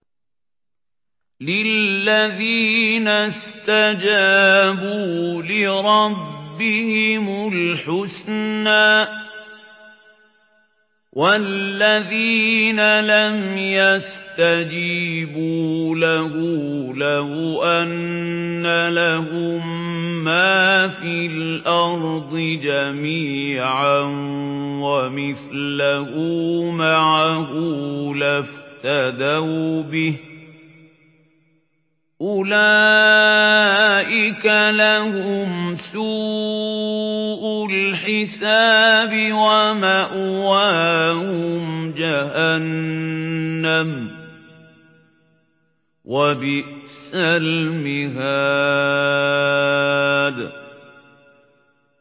لِلَّذِينَ اسْتَجَابُوا لِرَبِّهِمُ الْحُسْنَىٰ ۚ وَالَّذِينَ لَمْ يَسْتَجِيبُوا لَهُ لَوْ أَنَّ لَهُم مَّا فِي الْأَرْضِ جَمِيعًا وَمِثْلَهُ مَعَهُ لَافْتَدَوْا بِهِ ۚ أُولَٰئِكَ لَهُمْ سُوءُ الْحِسَابِ وَمَأْوَاهُمْ جَهَنَّمُ ۖ وَبِئْسَ الْمِهَادُ